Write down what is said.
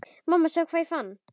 Mamma sjáðu hvað ég fann!